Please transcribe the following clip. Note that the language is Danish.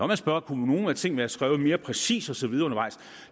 man spørge om nogle af tingene skrevet mere præcist og så videre undervejs